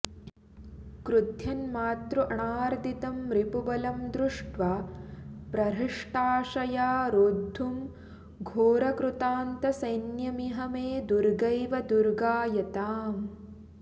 क्रुध्यन्मातृअणार्दितं रिपुबलं दृष्ट्वा प्रहृष्टाशया रोद्धुं घोरकृतान्तसैन्यमिह मे दुर्गैव दुर्गायताम्